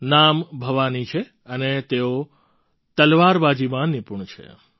નામ ભવાની છે અને તેઓ તલવારબાજીમાં નિપુણ છે